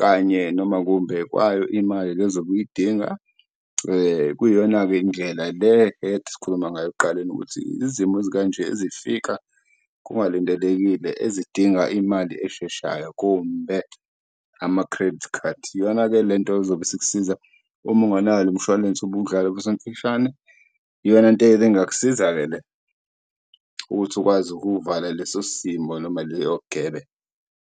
kanye noma kumbe kwayo imali le ozobe uyidinga. Kuyiyona-ke indlela le ekade sikhuluma ngayo ekuqaleni, ukuthi izimo ezikanje ezifika kungalindelekile ezidinga imali esheshayo kumbe ama-credit card. Iyona-ke lento ezobe isikusiza uma unganawo lo mshwalense ubuwudlala , iyona nto engingakusiza-ke le ukuthi ukwazi ukuvala leso simo noma leyo gebe.